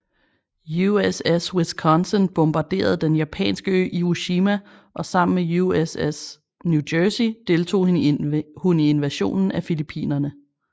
USS Wisconsin bombarderede den japanske ø Iwo Jima og sammen med USS New Jersey deltog hun i invasionen af Filippinerne